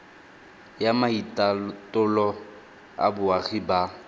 ya maitatolo a boagi ba